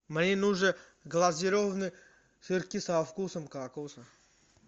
мне нужен глазированные сырки со вкусом кокоса